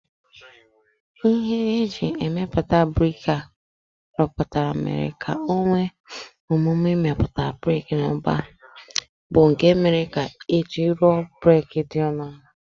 Ihe e ji emepụta brik a rụpụtara mere ka o kwe omume imepụta brik n'ụba, bụ́ nke mere ka e ji rụọ brik dị ọnụ ala